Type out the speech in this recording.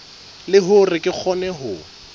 le hore re kgone ho